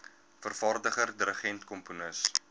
vervaardiger dirigent komponis